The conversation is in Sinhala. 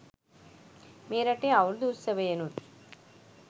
මේ රටේ අවුරුදු උත්සවයෙනුත්